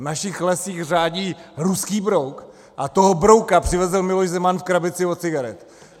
V našich lesích řádí ruský brouk a toho brouka přivezl Miloš Zeman v krabici od cigaret.